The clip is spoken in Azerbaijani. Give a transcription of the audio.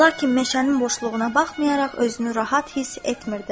Lakin meşənin boşluğuna baxmayaraq özünü rahat hiss etmirdi.